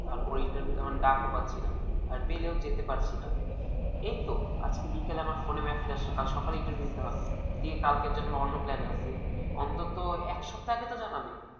তারপর interview ডাকও পাচ্ছিনা আর পেলেও যেতে পারছি না এইতো আজকে বিকেলে। আমার ফোনে message এসেছিল। কাল সকালে interview দিতে হবে দিয়ে কালকের জন্য। অন্য plane আছে অন্তত এক সপ্তাহ আগে তো জানাবে।